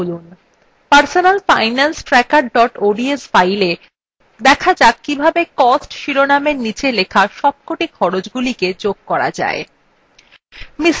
আমাদের personal finance tracker ods fileএ দেখা যাক কিভাবে cost শিরোনামের নীচে লেখা সবকটি খরচ্ গুলিকে যোগ করা যায়